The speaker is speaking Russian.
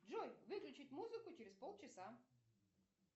джой выключить музыку через полчаса